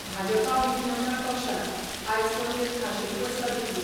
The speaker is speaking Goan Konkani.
भाजपा विधीमंडळ पक्षान आयज पणजेंत खाशेली बसका घेतली.